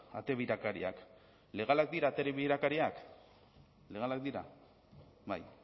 ate birakariak legalak dira ate birakariak legalak dira bai